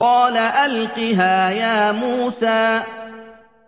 قَالَ أَلْقِهَا يَا مُوسَىٰ